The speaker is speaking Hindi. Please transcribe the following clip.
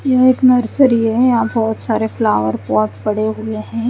यह एक नर्सरी है यहा बोहोत सारे फ्लावर पॉट पड़े हुए है।